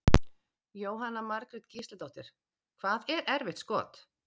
Jóhanna Margrét Gísladóttir: Hvað er erfitt skot?